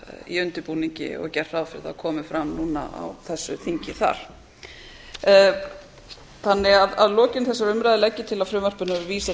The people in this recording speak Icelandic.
í undirbúningi og gert ráð fyrir að það komi fram núna á þessu þingi þar að lokinni þessari umræðu legg ég til að frumvarpinu verði vísað